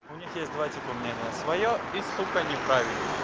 у них есть два типа мнения своё и сука неправильное